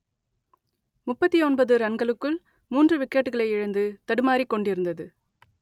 முப்பத்தி ஒன்பது ரன்களுக்குள் மூன்று விக்கெட்டுகளை இழந்து தடுமாறிக் கொண்டிருந்தது